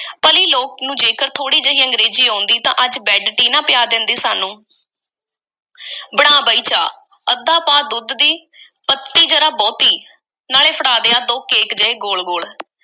ਭਲੀ ਲੋਕ ਨੂੰ ਜੇਕਰ ਥੋੜ੍ਹੀ ਜਿਹੀ ਅੰਗਰੇਜ਼ੀ ਆਉਂਦੀ, ਤਾਂ ਅੱਜ bed tea ਨਾ ਪਿਆ ਦਿੰਦੀ, ਸਾਨੂੰ। ਬਣਾ ਬਈ ਚਾਹ, ਅੱਧ ਪਾਅ ਦੁੱਧ ਦੀ, ਪੱਤੀ ਜ਼ਰਾ ਬਹੁਤੀ, ਨਾਲੇ ਫੜਾ ਦੇ ਆਹ ਦੋ ਕੇਕ ਜਿਹੇ ਗੋਲ-ਗੋਲ।